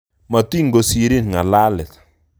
Motinkosirin ngalalet